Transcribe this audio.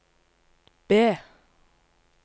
B